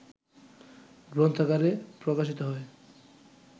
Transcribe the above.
গ্রন্থাকারে প্রকাশিত হয়